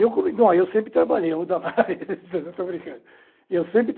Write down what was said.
Eu come sempre trabalhei Damares, estou brincando. Eu sempre